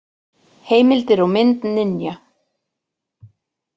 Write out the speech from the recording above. Heimildir og mynd Ninja.